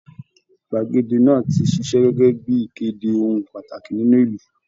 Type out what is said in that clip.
Gbàgede náà ti ṣiṣẹ́ gẹ́gẹ́ bí i ìkéde ohun pàtàkì nínú ìlú